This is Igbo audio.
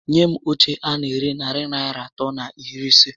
Nye m óche a na ere narị Naịra atọ na iri isé